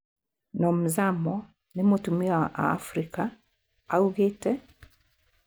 Nomzamo nĩ mutumia wa Afrika,:"augĩte.